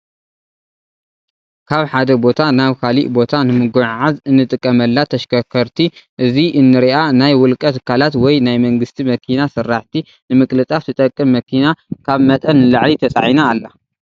ካብ ሓደ ቦታ ናብ ካሊእ ቦታ ንምጉዕዓዝ እንጥቀመላ ተሽከርከርቲ እዚ እነሪኣ ናይ ውልቀ ትካላት ወይ ናይ መንግስቲ መኪና ስራሕቲ ንምቅልጣፍ ትጠቅም መኪና ካብ መጠን ንላዕሊ ተፃዒና ኣላ።